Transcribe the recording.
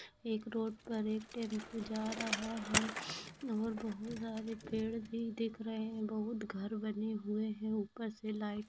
एक रोड पर एक टेंपू जा रहा है और बहुत सारे पेड़ भी दिख रहे हैं बहुत घर बने हुए हैं ऊपर से लाइट --